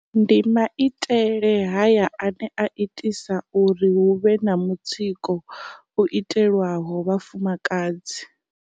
Ndi maitele haya ane a itisa uri hu vhe na mutsiko u itelwaho vhafumakadzi.